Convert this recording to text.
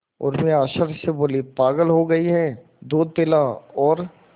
उर्मी आश्चर्य से बोली पागल हो गई है दूध पिला और